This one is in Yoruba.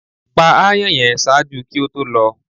pa aàyàn yẹn! ṣaaju ki o to lọ